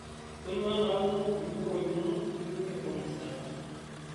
Tonyua ntaa kumok nchorroi inonok nitumie olmshaara